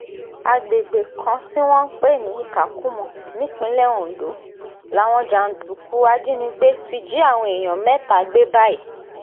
àgbègbè kan tí wọ́n ń pè ní ìkàkùmọ nípínlẹ̀ ondo làwọn jàǹdùkú ajínigbé ti jí àwọn èèyàn mẹ́ta gbé báyìí